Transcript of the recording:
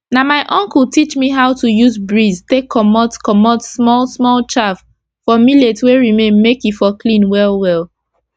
na my uncle teach me how to use breeze take comot comot small small chaff for millet wey remain make e for clean well well